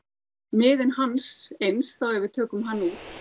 miðinn hans eins ef við tökum hann